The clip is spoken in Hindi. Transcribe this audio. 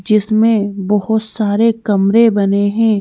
जिसमें बहुत सारे कमरे बने हैं।